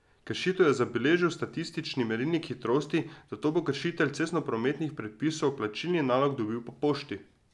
Kršitev je zabeležil statični merilnik hitrosti, zato bo kršitelj cestnoprometnih predpisov plačilni nalog dobil po pošti.